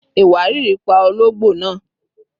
Iwariiri pa ologbo naa